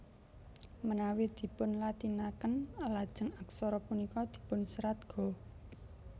Menawi dipunlatineken lajeng aksara punika dipunserat Ga